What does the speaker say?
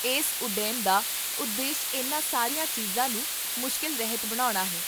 ਇਸ ਉੱਦਮ ਦਾ ਉਦੇਸ਼ ਇਨ੍ਹਾਂ ਸਾਰੀਆਂ ਚੀਜ਼ਾਂ ਨੂੰ ਮੁਸ਼ਕਲ ਰਹਿਤ ਬਣਾਉਣਾ ਹੈ